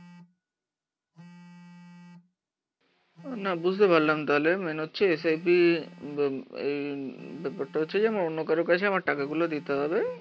না বুঝতে পারলাম তাহলে, মেইন হচ্ছে S I P um uh এই ব্যাপারটা হচ্ছে যে অন্য কারোর কাছে আমার টাকাগুলো দিতে হবে